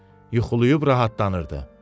Yuxulayıb rahatlanırdı.